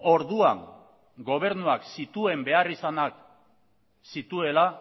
orduan gobernuak zituen beharrizanak zituela